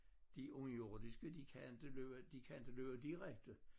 De underjordiske de kan inte løbe de kan inte løbe direkte